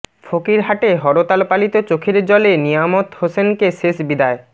ফকিরহাটে হরতাল পালিত চোখের জলে নিয়ামত হোসেনকে শেষ বিদায়